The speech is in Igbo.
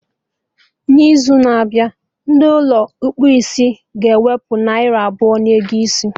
Na izu na-abịa, ndị Ụlọ ịkpụ isiga ewepụ narị abụọ na ego isi